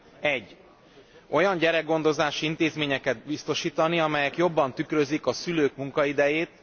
1. olyan gyerekgondozási intézményeket biztosítani, amelyek jobban tükrözik a szülők munkaidejét,